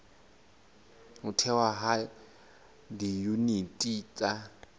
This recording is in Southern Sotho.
ho thehwa ha diyuniti tsa